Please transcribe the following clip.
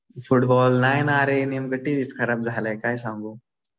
हा हा. फुटबॉल नाही ना. अरे नेमकं टीव्हीच खराब झालाय काय सांगू.